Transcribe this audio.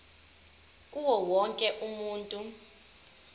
kuwo wonke umuntu